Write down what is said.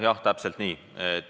Jah, täpselt nii.